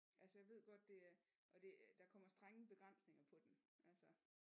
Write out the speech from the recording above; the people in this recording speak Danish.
Altså jeg ved godt det er og det der kommer strenge begrænsninger på den altså